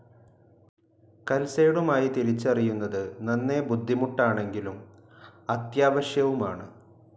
കൽസൈടുമായി തിരിച്ചറിയുന്നത് നന്നേ ബുദ്ധിമുട്ടാണെങ്കിലും അത്യാവശ്യവുമാണ്.